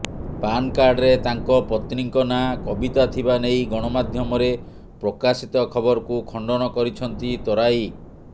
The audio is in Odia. ପାନ୍ କାର୍ଡରେ ତାଙ୍କ ପତ୍ନୀଙ୍କ ନାଁ କବିତା ଥିବା ନେଇ ଗଣମାଧ୍ୟମରେ ପ୍ରକାଶିତ ଖବରକୁ ଖଣ୍ଡନ କରିଛନ୍ତି ତରାଇ